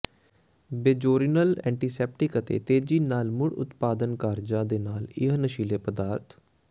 ਬੇਜ਼ੋਰਿਨਲ antiseptic ਅਤੇ ਤੇਜ਼ੀ ਨਾਲ ਮੁੜ ਉਤਪਾਦਨ ਕਾਰਜਾਂ ਦੇ ਨਾਲ ਇੱਕ ਨਸ਼ੀਲੇ ਪਦਾਰਥ